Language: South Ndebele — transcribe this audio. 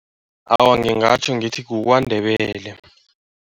Awa, ngingatjho ngithi kuKwaNdebele.